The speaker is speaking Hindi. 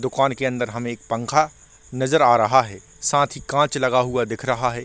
दुकान के अंदर हमें एक पंखा नजर आ रहा है साथ ही कांच लगा हुआ दिख रहा है।